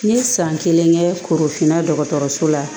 N ye san kelen kɛ korofinna dɔgɔtɔrɔso la